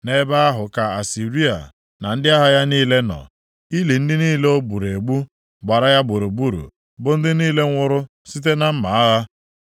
“Nʼebe ahụ ka Asịrịa na ndị agha ya niile nọ; ili ndị niile o gburu egbu gbara ya gburugburu, bụ ndị niile nwụrụ site na mma agha.